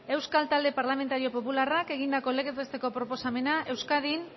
euskal talde parlamentario popularrak egindako legez besteko proposamena euskadin